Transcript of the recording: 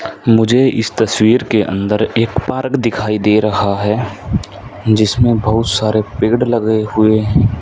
मुझे इस तस्वीर के अंदर एक पार्क दिखाई दे रहा है जिसमें बहुत सारे पेड़ लगे हुए--